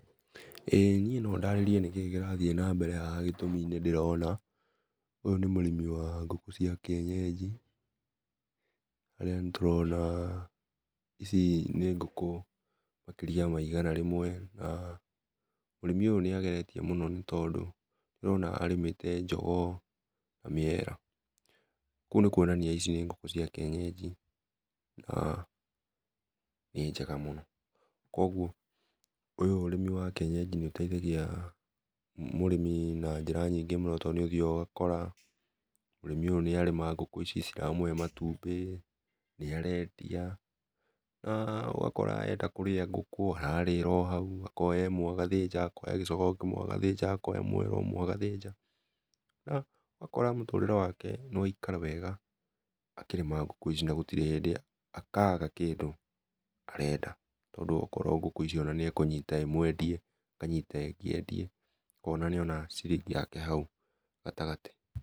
Ĩĩ niĩ no ndarĩrie nĩkĩĩ kĩrathiĩ nambere haha gĩtũmi nĩndĩrona, ũyũ nĩ mũrĩmi wa ngũkũ cia kĩenyenji, harĩa nĩtũrona ici nĩ ngũkũ makĩria ma igana rĩmwe, na mũrĩmi ũyũ nĩageretie mũno nĩtondũ nĩndĩrona arĩmĩte jogoo na mĩera, kũu nĩkuonania ici nĩ ngũkũ cia kĩenyenji na nĩ njega mũno, kuoguo ũyũ ũrĩmi wa kĩenyenji nĩũteithagia mũrĩmi na njĩra nyingĩ mũno tondũ nĩũthiaga ũgakora mũrĩmi ũyũ nĩarĩma ngkũ ici, nĩciramũhe matumbĩ, nĩarendia na ũgakora enda kũrĩa ngũkũ ararĩra o hau, akoya ĩmwe, akoya gĩcogoo kĩmwe agathĩnja, akoya mwera ũmwe agathĩnja, na ũgakora mũtũrĩre wake nĩwaikara wega akĩrĩma ngũkũ ici na gũtirĩ hĩndĩ akaga kĩndũ arenda, tondũ akorwo ngũkũ icio nĩekũnyita ĩmwe endie, akanyita ĩngĩ endie, ũkona nĩona ciringi yake hau gatagatĩ.